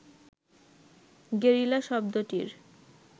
guerrilla শব্দটির